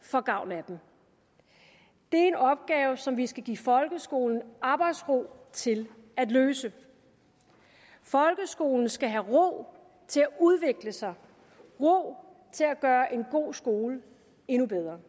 får gavn af dem det er en opgave som vi skal give folkeskolen arbejdsro til at løse folkeskolen skal have ro til at udvikle sig ro til at gøre en god skole endnu bedre